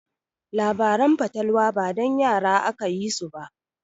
Labaran fatalwa ba dan yara aka yi su ba.